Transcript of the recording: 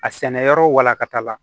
A sɛnɛyɔrɔ walankata la